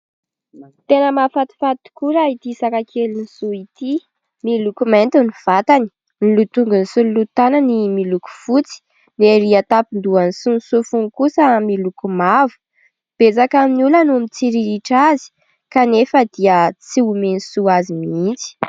Tena mahafatifaty tokoa raha ity saka kelin'i Soa ity. Miloko mianty ny vatany, ny lohan-tongony sy ny lohan-tanany miloko fotsy. Ny erỳ an-tampon-dohany sy ny sofiny kosa miloko mavo. Betsaka amin'ny olona no mitsiriritra azy, kanefa dia tsy omen'i Soa azy mihitsy.